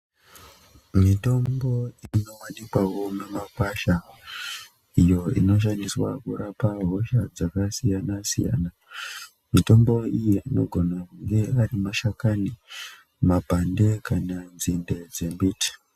Mitombo inowanikwawo mumakwasha iyo inoshandiswawo kurapa hosha dzakasiyana siyana, mitombo iyi inogone kunge ari mashakani, mapande kana nzinde dzembiti.